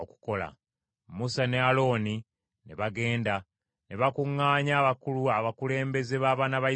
Musa ne Alooni ne bagenda, ne bakuŋŋaanya abakulu abakulembeze b’abaana ba Isirayiri;